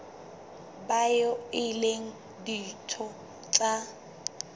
bao e leng ditho tsa